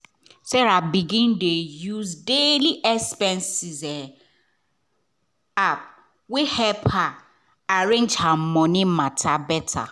sarah begin dey use daily expense app wey help her arrange her money matter better.